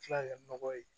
Kila ka kɛ nɔgɔ ye